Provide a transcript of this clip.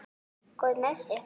Góður með sig.